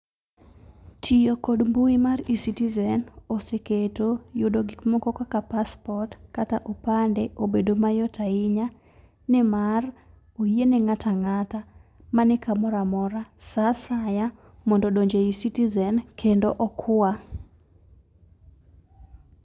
Tiyo kod mbui mar eCitizen oseketo yudo gik moko kaka paspot kata opande obedo mayot ahinya ni mar oyie ne ng'ato ang'ata mani kamoro amora sa asaya mondo odonj eyi citizen mondo okwa.